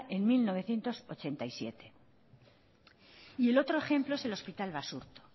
en mil novecientos ochenta y siete y el otro ejemplo es el hospital basurto